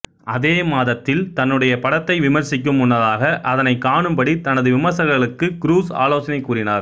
அதே மாதத்தில் தன்னுடைய படத்தை விமர்சிக்கும் முன்னதாக அதனைக் காணும்படி தனது விமர்சகர்களுக்கு க்ரூஸ் ஆலோசனை கூறினார்